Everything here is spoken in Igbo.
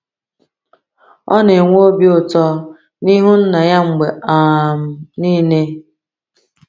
Ọ na-enwe obi ụtọ n’ihu Nna ya mgbe um niile.